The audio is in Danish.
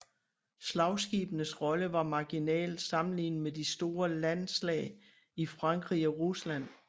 Slagskibenes rolle var marginal sammenlignet med de store landslag i Frankrig og Rusland